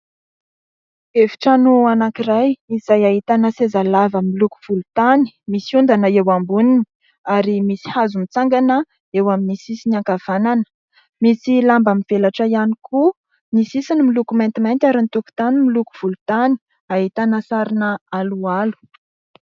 Efitrano anankiray izay ahitana sezalava miloko volontany, misy ondana eo amboniny ary misy hazo mitsangana eo amin'ny sisiny ankavanana. Misy lamba mivelatra ihany koa, ny sisiny miloko maintimainty ary ny tokotany miloko volontany ; ahitana sarina aloalo.